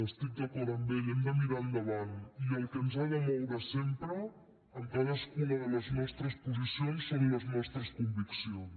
estic d’acord amb ell hem de mirar endavant i el que ens ha de moure sempre en cadascuna de les nostres posicions són les nostres conviccions